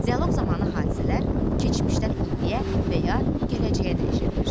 Dialoq zamanı hadisələr keçmişdən indiyə və ya gələcəyə dəyişə bilir.